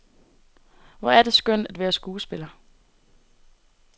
Hvor er det skønt at være skuespiller.